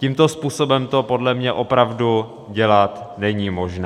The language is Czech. Tímto způsobem to podle mě opravdu dělat není možné.